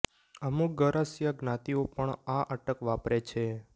અમુક ગરાસિયા જ્ઞાતિઓ પણ આ અટક વાપરે છે